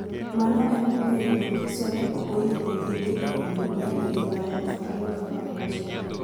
Mano emomiyo jo-Kiso ne ok oyienegi dhi e ombulu e higa mar 2016